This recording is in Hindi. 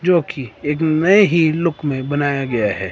जो कि एक नए ही लुक में बनाया गया है।